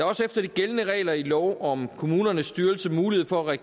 også efter de gældende regler i lov om kommunernes styrelse mulighed for at